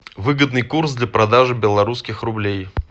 выгодный курс для продажи белорусских рублей